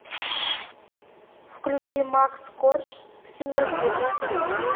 включи макс корж в темноте